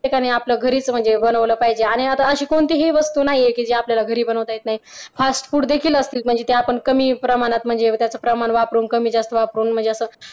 प्रत्येकाने आपल्या घरीच म्हणजे बनवलं पाहिजे आणि आता अशी कोणती वस्तू आहे की जी आपल्या घरी बनवता येत नाही फास्ट फूड देखील असतील म्हणजे ते आपण कमी प्रमाणात म्हणजे त्याचं प्रमाण वापरून कमी जास्त वापरून